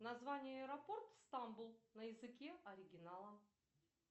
название аэропорт стамбул на языке оригинала